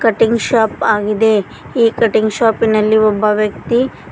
ಟಿಂಗ್ shop ಆಗಿದೆ ಈ cutting ಶಾಪಿನಲ್ಲಿ ಒಬ್ಬ ವ್ಯಕ್ತಿ--